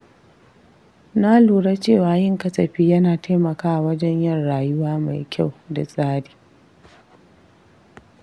Na lura cewa yin kasafi yana taimakawa wajen yin rayuwa mai kyau da tsari.